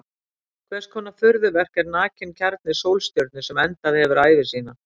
Hvers konar furðuverk er nakinn kjarni sólstjörnu sem endað hefur ævi sína?